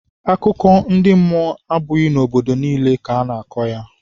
Akụkọ ndị mmụọ abụghị n'obodo niile ka a na-akọ ya.